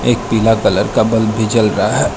एक पीला कलर का बल्ब भी जल रहा है।